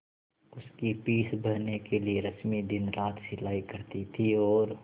उसकी फीस भरने के लिए रश्मि दिनरात सिलाई करती थी और